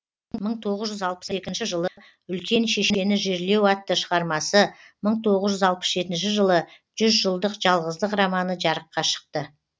мың тоғыз жүз алпыс екінші жылы үлкен шешені жерлеу атты шығармасы мың тоғыз жүз алпыс жетінші жылы жүз жылдық жалғыздық романы жарыққа шықты